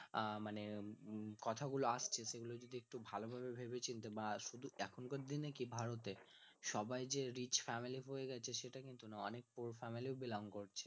আহ মানে কথা গুলো আসছে সেগুলো যদি একটু ভালো ভাবে ভেবে চিনতে বা শুধু এখানকার দিনে কি ভারতে সবাই যে rich family হয়ে গেছে সেটা কিন্তু নয় অনেক poor family ও belong করে